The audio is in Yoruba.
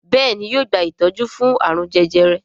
Béèni yóò gba itọju fún arun jẹjẹrẹ.